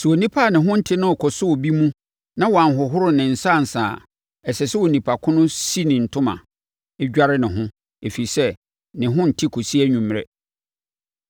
“ ‘Sɛ onipa a ne ho nte no rekɔsɔ obi mu na wanhohoro ne nsa ansa a, ɛsɛ sɛ onipa ko no si ne ntoma, dware ne ho, ɛfiri sɛ, ne ho nte kɔsi anwummerɛ.